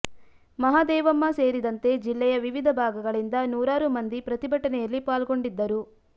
ಮಹಾ ದೇವಮ್ಮ ಸೇರಿದಂತೆ ಜಿಲ್ಲೆಯ ವಿವಿಧ ಭಾಗಗಳಿಂದ ನೂರಾರು ಮಂದಿ ಪ್ರತಿ ಭಟನೆಯಲ್ಲಿ ಪಾಲ್ಗೊಂಡಿದ್ದರು